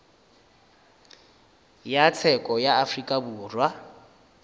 ya tsheko ya afrika borwa